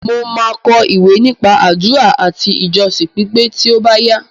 Mo máa kọ ìwé nípa àdúrà àti ìjọsìn pípé tí ó bá yá.